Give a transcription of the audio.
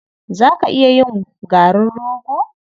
Za ka iya yin garin rogo?